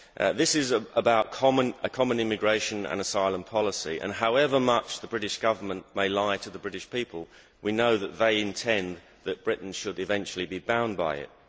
This is about a common immigration and asylum policy and, however much the British Government may lie to the British people, we know that they intend that Britain should eventually be bound by it.